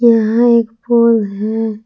यहां एक पोल है।